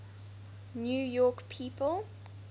new york people